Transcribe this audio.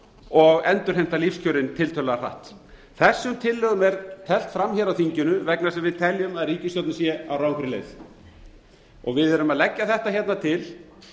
og endurheimta lífskjörin tiltölulega hratt þessum tillögum er teflt fram hér á þinginu vegna þess að við teljum að ríkisstjórnin sé á rangri leið við erum að leggja þetta hérna til